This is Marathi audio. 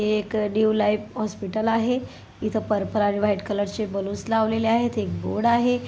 हे एक न्यू लाइफ हॉस्पिटल आहे. इथ पर्पल आणि व्हाइट कलर चे बलून्स लावलेले आहे. एक बोर्ड आहे.